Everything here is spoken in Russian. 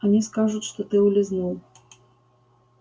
они скажут что ты улизнул